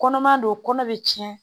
Kɔnɔma don kɔnɔ be tiɲɛ